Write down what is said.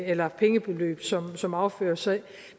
eller pengebeløb som som overføres så